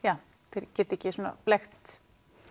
þeir geti ekki blekkt